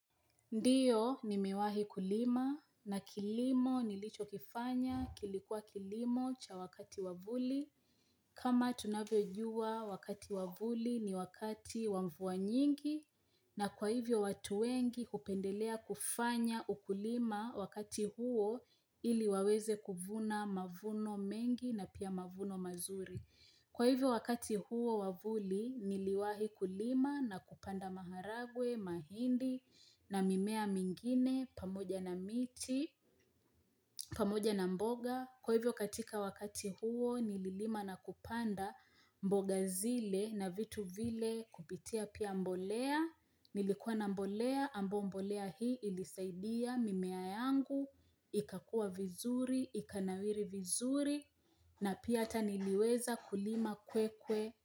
Ndiyo ni mewahi kulima na kilimo nilicho kifanya kilikua kilimo cha wakati wavuli. Kama tunavyo jua wakati wa vuli ni wakati wa mvua nyingi na kwa hivyo watu wengi kupendelea kufanya ukulima wakati huo ili waweze kuvuna mavuno mengi na pia mavuno mazuri. Kwa hivyo wakati huo wavuli niliwahi kulima na kupanda maharagwe, mahindi na mimea mingine, pamoja na miti, pamoja na mboga. Kwa hivyo katika wakati huo nililima na kupanda mboga zile na vitu vile kupitia pia mbolea. Nilikuwa na mbolea, ambao mbolea hii ilisaidia mimea yangu ika kua vizuri, ikanawiri vizuri na pia hata niliweza kulima kwe kwe.